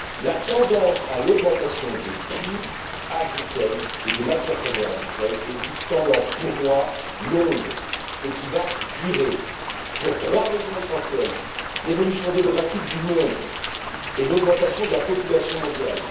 La tendance à l'augmentation des prix agricoles et des matières premières agricoles est une tendance, pour moi, longue et qui va durer pour trois raisons essentielles premièrement, l'évolution démographique du monde et l'augmentation de la population mondiale.